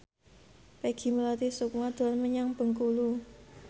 Peggy Melati Sukma dolan menyang Bengkulu